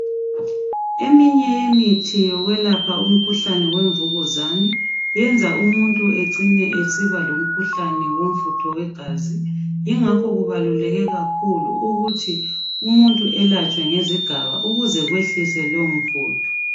Eminye yemithi yokwelapha umkhuhlane wemvukazane yenza umuntu ecine esiba lomkhuhlane womfutho wegazi ingakho kubaluleke kakhulu ukuthi umuntu elatshwe ngezigaba ukuze kwehliswe lowo mfutho.